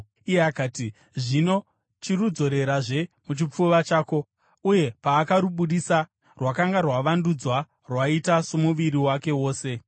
Iye akati, “Zvino chirudzorerazve muchipfuva chako,” uye paakarubudisa, rwakanga rwavandudzwa, rwaita somuviri wake wose.